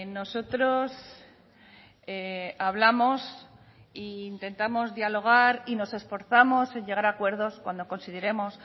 nosotros hablamos e intentamos dialogar y nos esforzamos en llegar acuerdos cuando consideremos